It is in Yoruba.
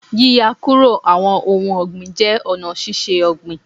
Yíya kúrò àwọn ohun ọ̀gbìn jẹ́ ọ̀nà ṣíṣe ọ̀gbìn